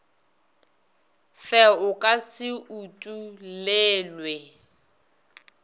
fe o ka se utollelwe